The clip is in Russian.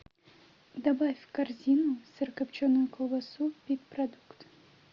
добавь в корзину сырокопченую колбасу пит продукт